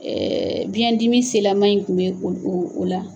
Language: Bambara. biyɛn dimi senlaman in kun bɛ o o la